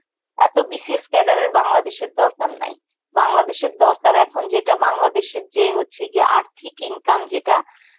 এত BCS cader এর বাংলাদেশের দরকার নেই. বাংলাদেশের দরকার এখন যেটা বাংলাদেশের যে হচ্ছে গিয়ে আর্থিক income যেটা